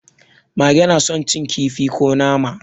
Mage na son cin kifi ko nama.